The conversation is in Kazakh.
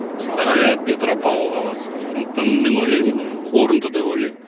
петропавл қаласы сондықтан мен ойлаймын ыыы орынды деп ойлаймын